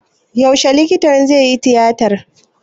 Yaushe likitan zaiyi tiyatar?